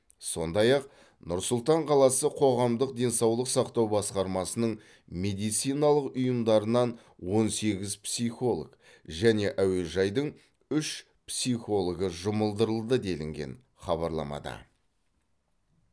сондай ақ нұр сұлтан қаласы қоғамдық денсаулық сақтау басқармасының медициналық ұйымдарынан он сегіз психолог және әуежайдың үш психологы жұмылдырылды делінген хабарламада